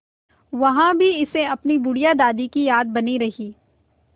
वहाँ भी इसे अपनी बुढ़िया दादी की याद बनी रही